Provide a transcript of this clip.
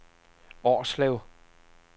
Årslev